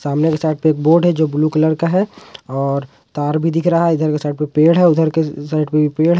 सामने के साइड पे एक बोर्ड है जो ब्लू कलर का है और तार भी दिख रहा है इधर के साइड में पेड़ है उधर के साइड पे भी पेड़ है।